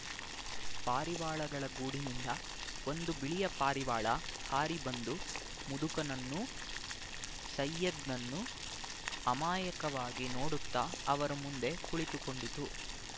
ಪಾರಿವಾಳಗಳ ಗೂಡಿನಿಂದ ಒಂದು ಬಿಳಿಯ ಪಾರಿವಾಳ ಹಾರಿ ಬಂದು ಮುದುಕನನ್ನೂ ಸೈಯದ್‍ನನ್ನೂ ಅಮಾಯಕವಾಗಿ ನೋಡುತ್ತಾ ಅವರ ಮುಂದೆ ಕುಳಿತುಕೊಂಡಿತು